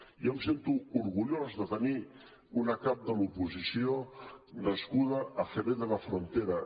jo em sento orgullós de tenir una cap de l’oposició nascuda a jerez de la frontera